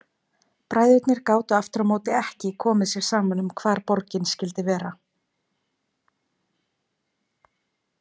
Bræðurnir gátu aftur á móti ekki komið sér saman um hvar borgin skyldi vera.